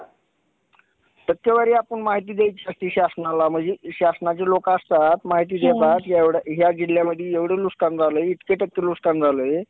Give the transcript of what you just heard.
केवळ पिण्याच्या पाण्यासाठी उपलब्ध आहे. त्यामुळे पाणी संवर्धन आणि पाणी बचत ही आजच्या काळाची मूलभूत गरज बनली आहे.